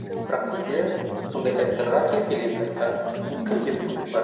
бірақ бізде сондай сайттарға кез келген сайтқа мхм кіруге мүмкіндік бар